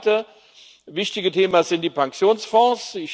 Das zweite wichtige Thema sind die Pensionsfonds.